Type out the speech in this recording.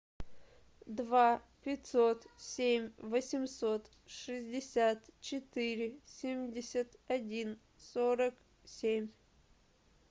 два пятьсот семь восемьсот шестьдесят четыре семьдесят один сорок семь